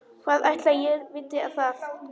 Hvað ætli ég viti það.